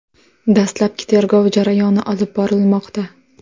Dastlabki tergov jarayoni olib borilmoqda.